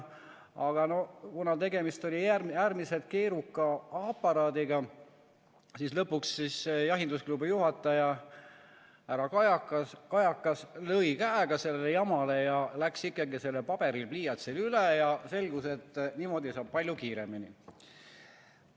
Aga kuna tegemist oli äärmiselt keeruka aparaadiga, siis lõpuks jahindusklubi juhataja härra Kajakas lõi käega kogu sellele jamale ja läks ikkagi paberile-pliiatsile üle, sest selgus, et niimoodi saab palju kiiremini.